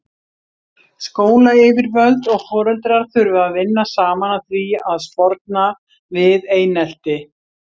Skólayfirvöld og foreldrar þurfa að vinna saman að því að sporna við einelti.